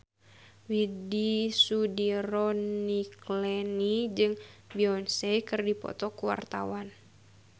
Widy Soediro Nichlany jeung Beyonce keur dipoto ku wartawan